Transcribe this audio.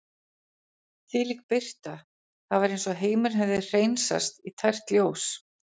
Þvílík birta, það var eins og heimurinn hefði hreinsast í tært ljós.